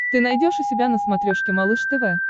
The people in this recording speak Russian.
ты найдешь у себя на смотрешке малыш тв